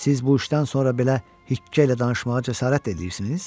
Siz bu işdən sonra belə hikqə ilə danışmağa cəsarət də eləyirsiniz?